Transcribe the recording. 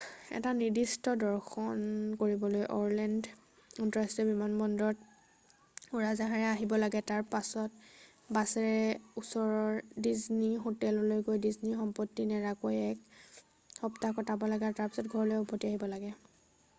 এটা নিৰ্দিষ্ট দৰ্শন কৰিবলৈ অৰলেণ্ড আন্তঃৰাষ্ট্ৰীয় বিমানবন্দৰত উৰাজাহাজেৰে আহিব লাগে তাৰ পিছত বাছেৰে ওচৰৰ ডিজনী হোটেললৈ গৈ ডিজনীৰ সম্পত্তি নেৰাকৈ এক সপ্তাহ কটাব লাগে আৰু তাৰ পিছত ঘৰলৈ উভতি আহিব লাগে